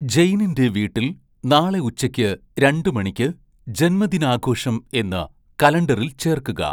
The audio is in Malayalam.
ജെയ്നിൻ്റെ വീട്ടിൽ നാളെ ഉച്ചയ്ക്ക് രണ്ട് മണിക്ക് ജന്മദിനാഘോഷം എന്ന് കലണ്ടറിൽ ചേർക്കുക